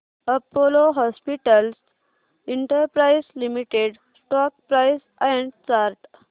Apollo hospitals enterprise limited stock price and chart